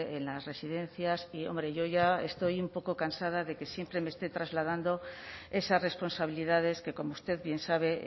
en las residencias y hombre yo ya estoy un poco cansada de que siempre me esté trasladando esas responsabilidades que como usted bien sabe